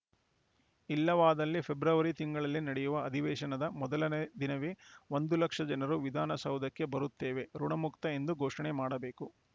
ಇಲ್ಲವಾದಲ್ಲಿ ಫೆಬ್ರವರಿ ತಿಂಗಳಲ್ಲಿ ನಡೆಯುವ ಅಧಿವೇಶನದ ಮೊದಲ ದಿನವೇ ಒಂದು ಲಕ್ಷ ಜನರು ವಿಧಾನಸೌಧಕ್ಕೆ ಬರುತ್ತೇವೆ ಋುಣಮುಕ್ತ ಎಂದು ಘೋಷಣೆ ಮಾಡಬೇಕು